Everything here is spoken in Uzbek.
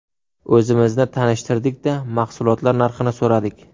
O‘zimizni tanishtirdik-da, mahsulotlar narxini so‘radik.